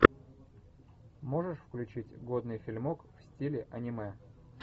можешь включить годный фильмок в стиле аниме